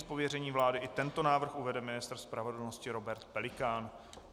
Z pověření vlády i tento návrh uvede ministr spravedlnosti Robert Pelikán.